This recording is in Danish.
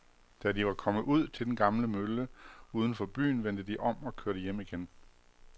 Da de var kommet ud til den gamle mølle uden for byen, vendte de om og kørte hjem igen.